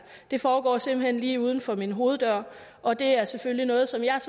det foregår simpelt hen lige uden for min hoveddør og det er selvfølgelig noget som jeg